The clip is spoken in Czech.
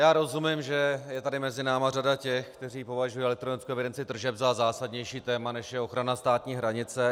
Já rozumím, že je tady mezi námi řada těch, kteří považují elektronickou evidenci tržeb za zásadnější téma, než je ochrana státní hranice.